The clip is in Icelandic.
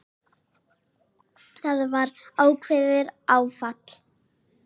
Það var ákveðið áfall.